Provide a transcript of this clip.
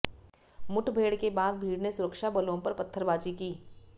मुठभेड़ के बाद भीड़ ने सुरक्षाबलों पर पत्थरबाजी की